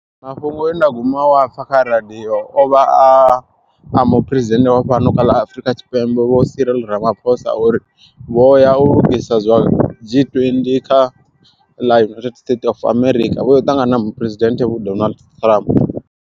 Mafhungo enda guma u a pfha kha radiyo ovha a muphuresidennde wa fhano kha ḽa Afurika Tshipembe, Vho Cyril Ramaphosa uri vho ya u lugisa zwa G20 kha ḽa United States of America vho ya u ṱangana na muphuresidenthe Vho Donald Trump.